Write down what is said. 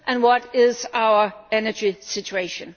And what is our energy situation?